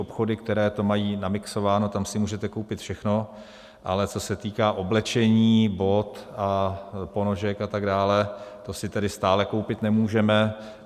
Obchody, které to mají namixováno, tam si můžete koupit všechno, ale co se týká oblečení, bot a ponožek a tak dále, to si tedy stále koupit nemůžeme.